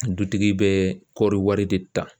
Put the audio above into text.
Dutigi bɛ kɔɔri wari de ta